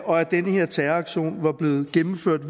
og at den her terroraktion var blevet gennemført